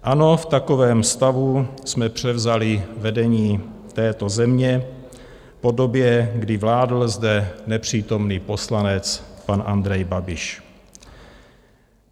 Ano, v takovém stavu jsme převzali vedení této země po době, kdy vládl zde nepřítomný poslanec pan Andrej Babiš.